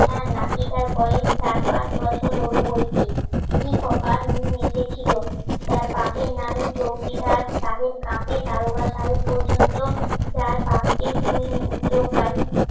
হ্যাঁ নাতি তার বয়স চার পাঁচ বছর হল বইকি কি কপাল নিয়ে এসেছিল যার বাপের নামে চৌকিদার সাহেব দারোগা সাহেব পর্যন্ত যার বাপ কে তুই তোকারি